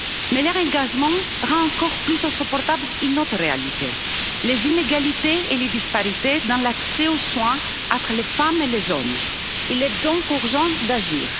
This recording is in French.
Mais leur engagement rend encore plus insupportable une autre réalité les inégalités et les disparités dans l'accès aux soins entre les femmes et les hommes. Il est donc urgent d'agir.